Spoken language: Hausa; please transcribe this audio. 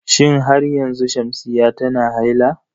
Shin har yanzu Shamsiyya tana haila?